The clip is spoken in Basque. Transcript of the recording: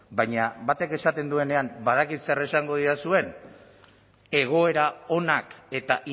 baina batek esaten duenean badakit zer esango didazuen egoera onak eta